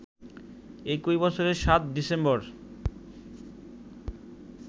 একই বছরের ৭ ডিসেম্বর